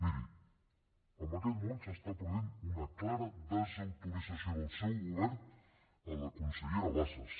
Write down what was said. miri en aquest moment s’està produint una clara desautorització del seu govern en la consellera bassa